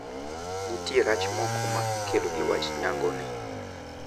Nitie rach moko ma ikelo gi wach nyango ni.